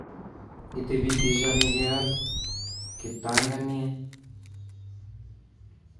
Itibitishani keal kiptanganyet